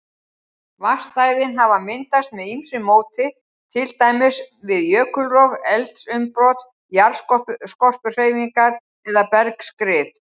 Vatnsstæðin hafa myndast með ýmsu móti, til dæmis við jökulrof, eldsumbrot, jarðskorpuhreyfingar eða bergskrið.